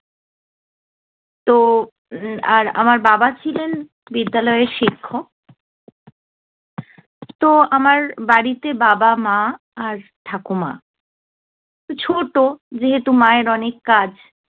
তো আর আমার বাবা ছিলেন বিদ্যালয়ের শিক্ষক। তো আমার বাড়িতে বাবা, মা আর ঠাকুমা ছোট যেহেতু মায়ের অনেক কাজ